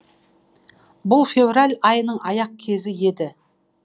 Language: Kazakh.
бұл февраль айының аяқ кезі еді